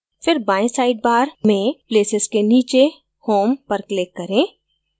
फिर बायें sidebar में places के नीचे home पर click करें